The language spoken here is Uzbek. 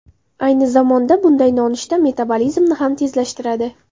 Ayni zamonda bunday nonushta metabolizmni ham tezlashtiradi.